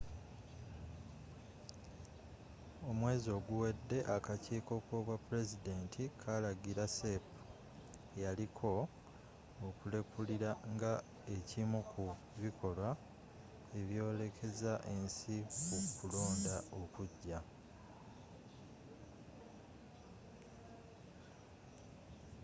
omwezi oguwedde akakiko k'obwapulezidenti kalagira cep eyaliko okulekulira nga ekimu ku bikolwa ebyolekeza ensi ku kulonda okujja